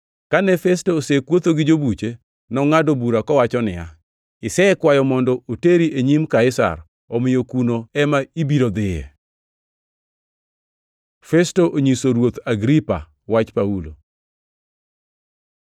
Kane Festo osekuotho gi jobuche, nongʼado bura kowacho niya, “Isekwayo mondo oteri e nyim Kaisar omiyo kuno ema ibiro dhiye!” Festo onyiso Ruoth Agripa wach Paulo